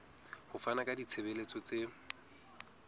ho fana ka ditshebeletso tse